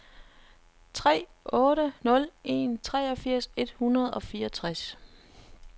tre otte nul en treogfirs et hundrede og fireogtres